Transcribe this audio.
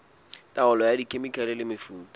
taolo ka dikhemikhale le mefuta